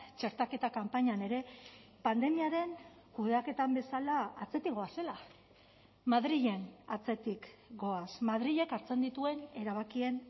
txertaketa kanpainan ere pandemiaren kudeaketan bezala atzetik goazela madrilen atzetik goaz madrilek hartzen dituen erabakien